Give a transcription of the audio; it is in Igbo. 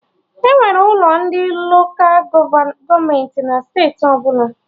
Enwere ụlọ ndị Lola gọọmenti na steeti ọbụla